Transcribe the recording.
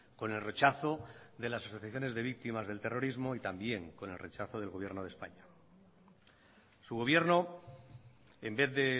con el rechazo de las asociaciones de víctimas del terrorismo y también con el rechazo del gobierno de españa su gobierno en vez de